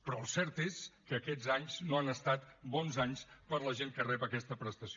però el cert és que aquests anys no han estat bons anys per a la gent que rep aquesta prestació